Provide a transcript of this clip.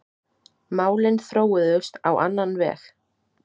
Málin þróuðust á annan veg.